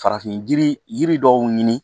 Farafin yiri yiri dɔw ɲini